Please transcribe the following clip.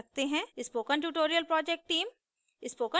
spoken tutorial project team: